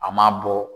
A ma bɔ